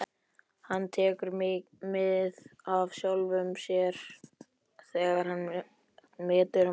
Hann tekur mið af sjálfum sér þegar hann metur mannfólkið.